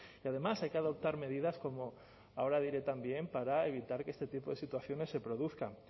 y además hay que adoptar medidas como ahora diré también para evitar que este tipo de situaciones se produzcan